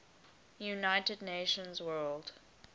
united nations world